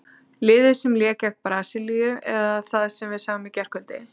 Liðið sem lék gegn Brasilíu eða það sem við sáum í gærkvöld?